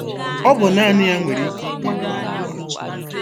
Ọ bụ naanị ya nwere ike ikpebi n'okwu a.